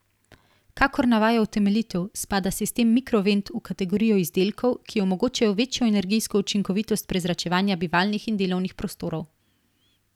Kakor navaja utemeljitev, spada sistem Mikrovent v kategorijo izdelkov, ki omogočajo večjo energijsko učinkovitost prezračevanja bivalnih in delovnih prostorov.